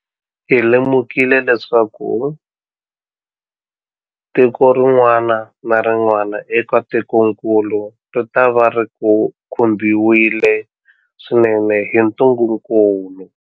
Hi lemukile leswaku tiko rin'wana na rin'wana eka tikokulu ritava ri khumbiwile swinene hi ntungukulu.